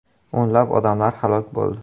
O‘nlab odamlar halok bo‘ldi.